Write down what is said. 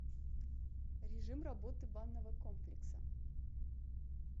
режим работы банного комплекса